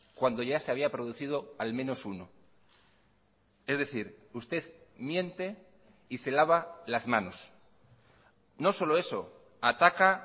cuando ya se había producido al menos uno es decir usted miente y se lava las manos no solo eso ataca